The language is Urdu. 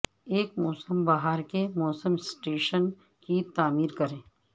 ایک موسم بہار کے موسم سٹیشن کی تعمیر کریں